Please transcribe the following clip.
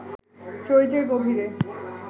চরিত্রের গভীরে